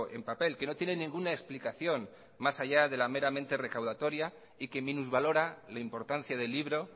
en papel que no tiene ninguna explicación más allá de la meramente recaudatoria y que minusvalora la importancia del libro